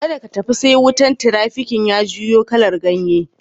Kadda ka tafi sai wutan tirafikin ya juyo kalan ganye.